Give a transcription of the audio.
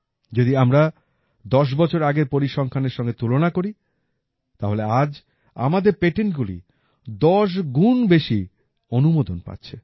যদি আমরা ১০ বছর আগের পরিসংখ্যানের সঙ্গে তুলনা করি তাহলে আজ আমাদের পেটেন্টগুলি ১০ গুণ বেশি অনুমোদন পাচ্ছে